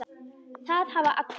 Það hafa allir